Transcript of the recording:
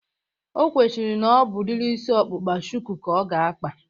O kwechiri na ọ bụ udiri isi ọkpụkpa shuku ka ọ ga-akpa